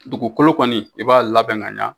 Dugukolo kɔni i b'a labɛn ka ɲɛ